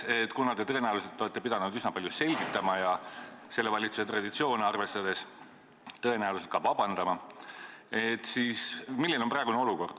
Kuna te tõenäoliselt olete pidanud seda üsna palju selgitama ja selle valitsuse traditsioone arvestades ka vabandust paluma, siis ma küsingi, milline on praegune olukord.